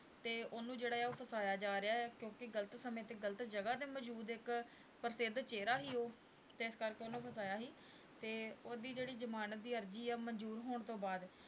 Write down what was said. ਤੇ ਉਹਨੂੰ ਜਿਹੜਾ ਉਹ ਫਸਾਇਆ ਜਾ ਰਿਹਾ ਹੈ ਕਿਉਂਕਿ ਗ਼ਲਤ ਸਮੇਂ ਤੇ ਗ਼ਲਤ ਜਗ੍ਹਾ ਤੇ ਮੌਜੂਦ ਇੱਕ ਪ੍ਰਸਿੱਧ ਚਿਹਰਾ ਸੀ ਉਹ ਤੇ ਇਸ ਕਰਕੇ ਉਹਨੂੰ ਫਸਾਇਆ ਸੀ, ਤੇ ਉਹਦੀ ਜਿਹੜੀ ਜਮਾਨਤ ਦੀ ਅਰਜ਼ੀ ਆ ਮੰਨਜ਼ੂਰ ਹੋਣ ਤੋਂ ਬਾਅਦ,